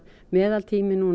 meðalbiðtími